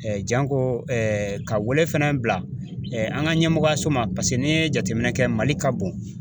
janko ka wɛlɛ fana bila an ka ɲɛmɔgɔyaso ma paseke n'i ye jateminɛ kɛ mali ka bon.